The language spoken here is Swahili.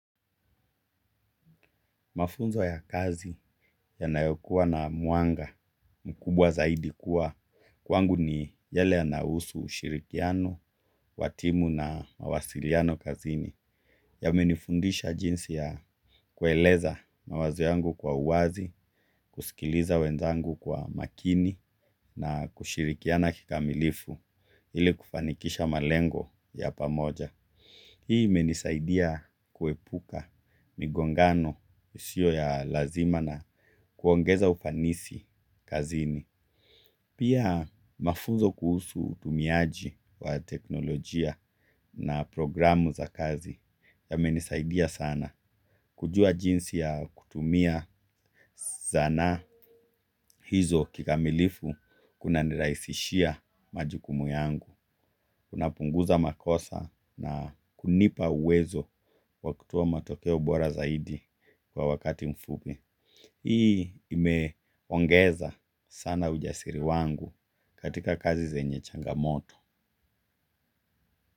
Mafunzo ya kazi yanayokuwa na mwanga mkubwa zaidi kuwa kwangu ni yale yanahusu ushirikiano, wa timu na mawasiliano kazini yamenifundisha jinsi ya kueleza mafunzo ya kazi yanayokuwa na mwanga mkubwa zaidi kuwa kwangu ni yale yanahusu ushirikiano, wa timu na mawasiliano kazini yamenifundisha jinsi ya kueleza hii imenisaidia kuepuka migongano isio ya lazima na kuongeza ufanisi kazini. Pia mafunzo kuhusu utumiaji wa teknolojia na programu za kazi ya menisaidia sana kujua jinsi ya kutumia zana hizo kikamilifu kuna ni raisishia majukumu yangu. Kuna punguza makosa na kunipa uwezo wa kutoa matokeo bora zaidi kwa wakati mfupi. Hii imeongeza sana ujasiri wangu katika kazi zenye changamoto.